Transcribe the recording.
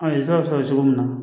An ye sira sɔrɔ cogo min na